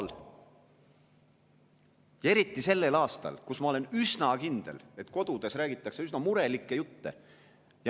Eriti sellel aastal, kui, ma olen üsna kindel, kodudes räägitakse üsna murelikke jutte.